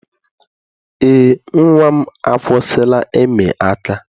Eé, nnwa m akwụsịla ịmị aka.